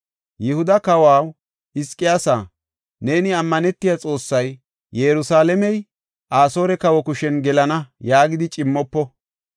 “Yihuda kawaw Hizqiyaasa, neeni ammanetiya xoossay, ‘Yerusalaamey Asoore kawa kushen gelenna’ yaagidi cimmofo.